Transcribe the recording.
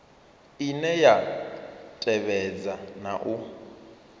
ine ya tevhedza na u